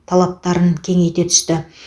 талаптарын кеңейте түсті